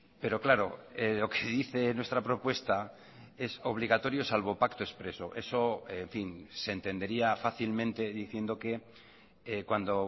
pero claro lo que dice nuestra propuesta es obligatorio salvo pacto expreso eso en fin se entendería fácilmente diciendo que cuando